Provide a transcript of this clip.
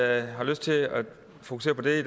jeg har lyst til at fokusere på det